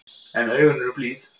En augun eru blíð.